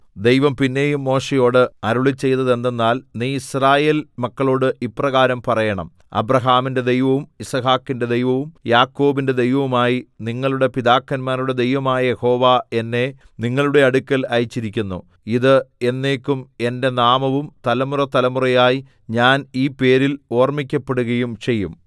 ദൈവം പിന്നെയും മോശെയോട് അരുളിച്ചെയ്തതെന്തെന്നാൽ നീ യിസ്രായേൽ മക്കളോട് ഇപ്രകാരം പറയണം അബ്രാഹാമിന്റെ ദൈവവും യിസ്ഹാക്കിന്റെ ദൈവവും യാക്കോബിന്റെ ദൈവവുമായി നിങ്ങളുടെ പിതാക്കന്മാരുടെ ദൈവമായ യഹോവ എന്നെ നിങ്ങളുടെ അടുക്കൽ അയച്ചിരിക്കുന്നു ഇത് എന്നേക്കും എന്റെ നാമവും തലമുറതലമുറയായി ഞാൻ ഈ പേരിൽ ഓർമ്മിക്കപ്പെടുകയും ചെയ്യും